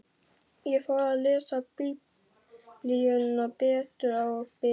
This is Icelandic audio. Ég fór að lesa Biblíuna betur og biðja.